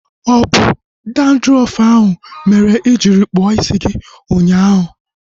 Ọ bụ dandrọfu ahụ mere i jiri kpụọ isi gị ụnyaahụ?